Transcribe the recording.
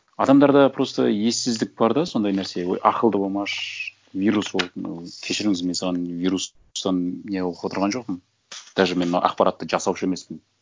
адамдарда просто ессіздік бар да сондай нәрсе ой ақылды болмашы вирусолог мынау кешіріңіз мен саған вирустан не оқып отырған жоқпын даже мен ақпаратты жасаушы емеспін